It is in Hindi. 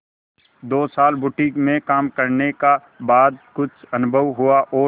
दो साल बुटीक में काम करने का बाद कुछ अनुभव हुआ और